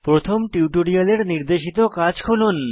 প্রথম টিউটোরিয়ালের নির্দেশিত কাজ খুলুন